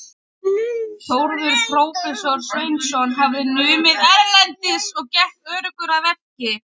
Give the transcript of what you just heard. Þórður prófessor Sveinsson hafði numið erlendis og gekk öruggur að verki.